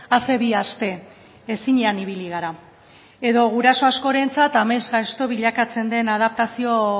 a ze bi aste ezinean ibili gara edo guraso askorentzat amesgaizto bilakatzen den adaptazio